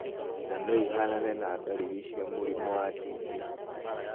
Na no ihanane na dariri cia mũrimũ wa TB.